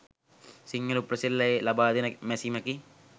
සිංහල උපසිරැසි ලබාදෙන මැසිමකි.